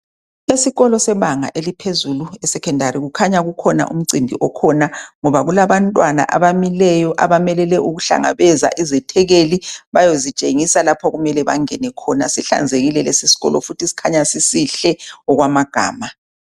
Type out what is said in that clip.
Esikolo sebanga eliphezulu esecondary kukhanya kukhona umncimbi okhona ngoba kulaba abantwana abamileyo abamelele ukuhlangabeza izethekeli bayozitshengisa lapho okumele bangene khona sihlanzekile lesi sikolo futhi sikhanya sisihle okwamagama .